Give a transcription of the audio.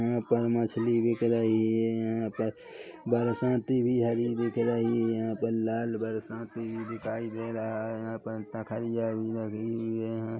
यहाँ पर मछली बिक रही है यहाँ पर बरसाती भी हरी बिक रही है यहाँ पर लाल बरसाती भी दिखाई दे रहा है यहाँ पर तखरिया भी लगी हुई है यहाँ --